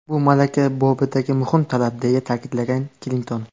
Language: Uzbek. Bu malaka bobidagi muhim talab”, deya ta’kidlagan Klinton.